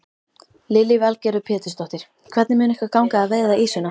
Lillý Valgerður Pétursdóttir: Hvernig mun ykkur ganga að veiða ýsuna?